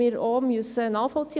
Wir müssen das nachvollziehen.